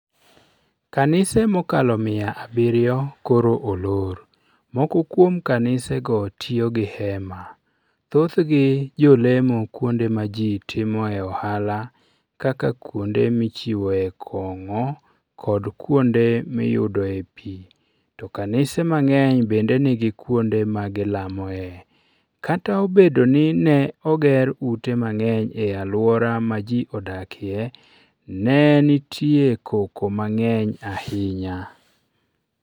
Kanise mokalo mia abirio koro olor moko kuom kanisego tiyo gi hema. Thothgi jolemo kuonde ma ji timoe ohala kaka kuonde michiwoe kong'o kod kuonde miyudoe pi; to kanise mang'eny bende nigi kuonde ma gilamoe. Kata obedo ni ne oger ute mang'eny e alwora ma ji odakie, ne nitie koko mang'eny ahinya.